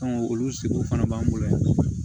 olu seko fana b'an bolo yan